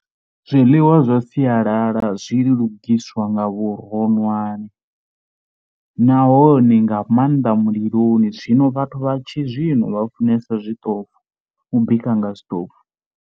Zwiḽiwa zwa sialala zwi lugiswa nga vhuronwane nahone nga maanḓa muliloni zwino vhathu vha tshizwino vha funesa zwiṱofu, u bika nga zwiṱofu.